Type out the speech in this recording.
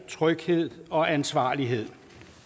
tryghed og ansvarlighed